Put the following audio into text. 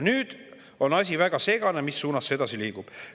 Nüüd on väga segane, mis suunas see asi edasi liigub.